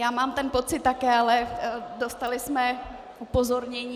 Já mám ten pocit také, ale dostala jsem upozornění.